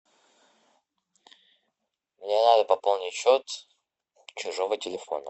мне надо пополнить счет чужого телефона